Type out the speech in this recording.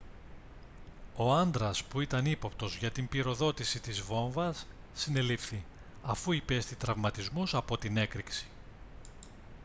ο άντρας που ήταν ύποπτος για την πυροδότηση της βόμβας συνελήφθη αφού υπέστη τραυματισμούς από την έκρηξη